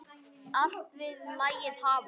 Allt vill lagið hafa.